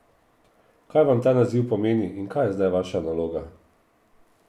Kaj vam ta naziv pomeni in kaj je zdaj vaša naloga?